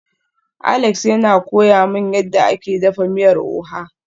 Alex yana koya min yadda ake dafa miyar oha